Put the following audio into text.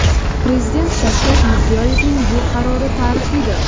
Prezident Shavkat Mirziyoyevning bu qarori tarixiydir.